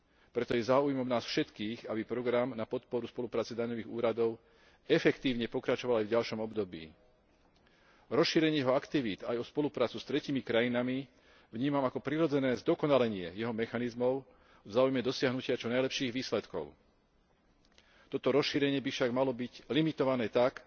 Preto je záujmom nás všetkých, aby program na podporu spolupráce daňových úradov efektívne pokračoval aj v ďalšom období. Rozšírenie jeho aktivít aj o spoluprácu s tretími krajinami vnímam ako prirodzené zdokonalenie jeho mechanizmov v záujme dosiahnutia čo najlepších výsledkov. Toto rozšírenie by však malo byť limitované tak,